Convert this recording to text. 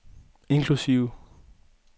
inklusive